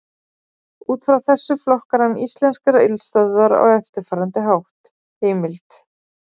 Út frá þessu flokkar hann íslenskar eldstöðvar á eftirfarandi hátt: Heimild: